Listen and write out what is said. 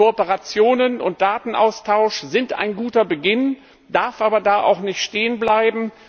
Kooperationen und Datenaustausch sind ein guter Beginn, man darf aber da nicht stehenbleiben.